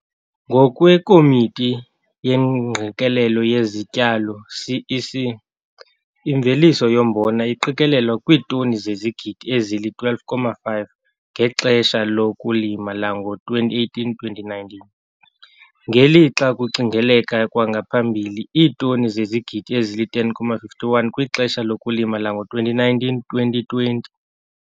NgokweKomiti yeeNgqikelelo yeziTyalo, CEC, imveliso yombona iqikelelwa kwiitoni zezigidi ezili-12,5 ngexesha lokulima lango-2018 - 2019, ngelixa kucingeleka kwangaphambili iitoni zezigidi ezili-10,51 kwixesha lokulima lango-2019 - 2020.